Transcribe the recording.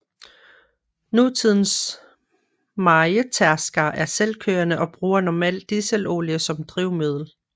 Nutidens mejetærskere er selvkørende og bruger normalt dieselolie som drivmiddel